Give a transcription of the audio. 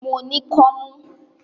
Mo ní kọ́mú.